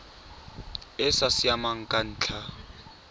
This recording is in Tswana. e sa siamang ka ntlha